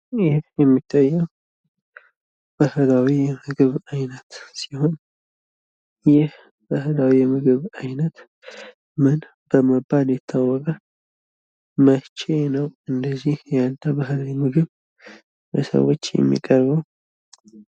ይህ የሚታየው ባህላዊ የምግብ ዓይነት ሲሆን ይህ ባህላዊ የምግብ ዓይነት ምን በመባል ይታወቃል? መቼ ነው እንደዚህ ያለ ባህላዊ ምግብ ለሰዎች የሚቀርበው?